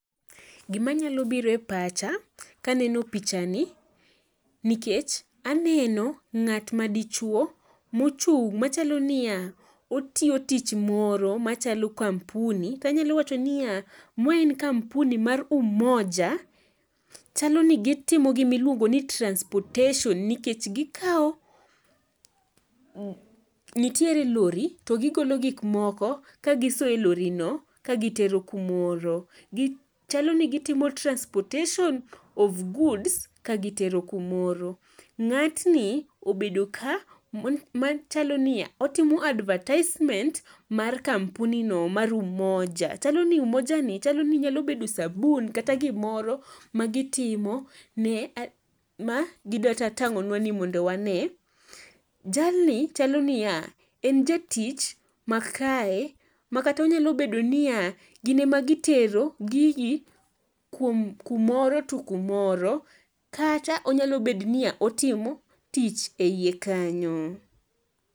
Gimanyalo biro e pacha kaneno pichani nikech aneno ng'at ma dichwo mochung' machalo niya otiyo tich moro machalo kampuni tanyalo wacho niya ma en kampuni mar umoja chalo ni gitimo gimiluongo ni transportation nikech nitiere lori to gigolo gikmomko kagisoyo e lorino kagitero kumoro. Chalo ni gitimo transportation of goods kagitero kumoro. Ng'atni obedo ka machalo niya otimo adertisement mar kampunino mar umoja. Chalo ni umojani chalo ni nyalo bedo sabun kata gimoro magitimo ma gidwatang'onwa ni mondo wane. Jalni chalo niya en jatich makae makata onyalo bedo niya gin ema gitero gigi kumoro to kumoro kata onyalo bedo niya otimo tich e iye kanyo.